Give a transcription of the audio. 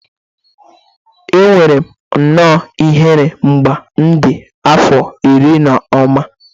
Enwere m nnọọ ihere mgbe m dị afọ iri na ụma